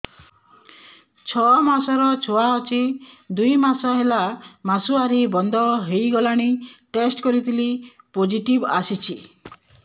ଛଅ ମାସର ଛୁଆ ଅଛି ଦୁଇ ମାସ ହେଲା ମାସୁଆରି ବନ୍ଦ ହେଇଗଲାଣି ଟେଷ୍ଟ କରିଥିଲି ପୋଜିଟିଭ ଆସିଛି